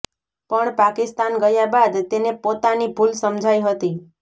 પણ પાકિસ્તાન ગયા બાદ તેને પોતાની ભૂલ સમજાઈ હતી